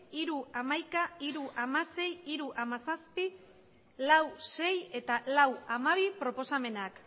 hiru puntu hamaika hiru puntu hamasei hiru puntu hamazazpi lau puntu sei eta lau puntu hamabi proposamenak